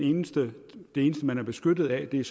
eneste man er beskyttet af er